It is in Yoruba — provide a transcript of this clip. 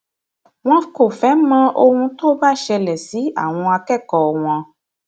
wọn kò fẹẹ mọ ohun tó bá ṣẹlẹ sí àwọn akẹkọọ wọn